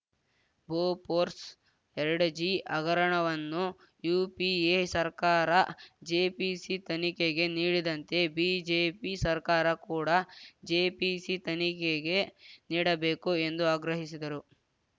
Bofors ಎರಡುಜಿ ಹಗರಣವನ್ನು UPA ಸರ್ಕಾರ ಜೆಪಿಸಿ ತನಿಖೆಗೆ ನೀಡಿದಂತೆ ಬಿಜೆಪಿ ಸರ್ಕಾರ ಕೂಡ ಜೆಪಿಸಿ ತನಿಖೆಗೆ ನೀಡಬೇಕು ಎಂದು ಆಗ್ರಹಿಸಿದರು